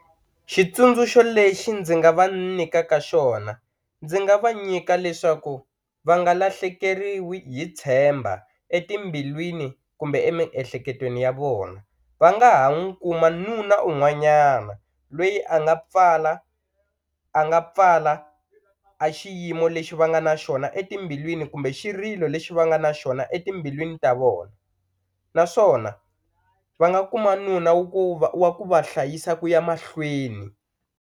Xitsundzuxo lexi ndzi nga va nyikaka xona ndzi nga va nyika leswaku va nga lahlekeriwi hi tshemba etimbilwini kumbe emiehleketweni ya vona va nga ha n'wu kuma nuna un'wanyana lweyi a nga pfala a nga pfala a xiyimo lexi va nga na xona etimbilwini kumbe xirilo lexi va nga na xona etimbilwini ta vona naswona va nga kuma nuna wu ku va wa ku va hlayisa ku ya mahlweni.